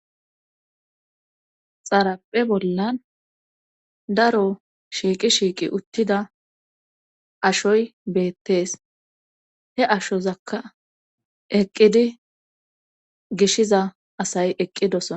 Xaraphe bollan daro shiiqi shiiqi uttida ashoy beettees he ashozakka eqqidi gishiza asay eqqidosona